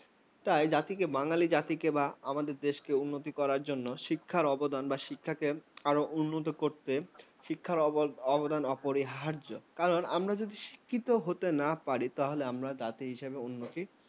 তাই আমাদের বাঙালি জাতিকে বা আমাদের দেশকে উন্নত করার জন্য শিক্ষার অবদান অপরিহার্য। কারণ আমরা যদি শিক্ষিত হতে না পারি, তবে আমরা জাতি হিসেবে উন্নতি